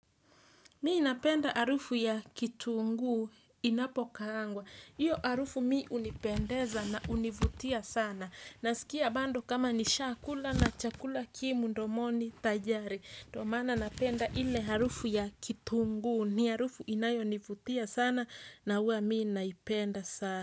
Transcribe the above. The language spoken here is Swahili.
Mimi napenda harufu ya kitunguu inapokaangwa. Hiyo harufu mimi hunipendeza na hunivutia sana nasikia bado kama nishaakula na chakula ki mdomoni tayari. Ndo maana napenda ile harufu ya kitunguu ni harufu inayonivutia sana na huwa mi naipenda sana.